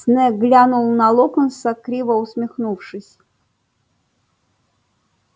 снегг глянул на локонса криво усмехнувшись